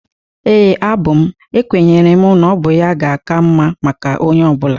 Ee, abụ m. Ekwenyere m na ọ bụ ya ga-aka mma maka onye ọbụla.